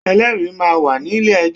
Ẹlẹ́rìí máa ń wà ní ilé ẹjọ́.